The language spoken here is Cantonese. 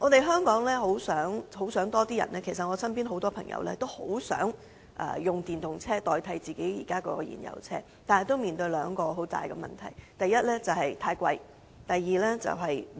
香港很多市民，包括我身邊的朋友，也很希望可以轉用電動車代替燃油車，但他們面對兩大問題：第一，價錢昂貴；及第二，充電設施不足。